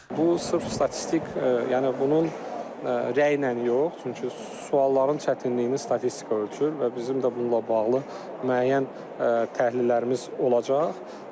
Bu sırf statistik, yəni bunun rəylə yox, çünki sualların çətinliyini statistika ölçür və bizim də bununla bağlı müəyyən təhlillərimiz olacaq.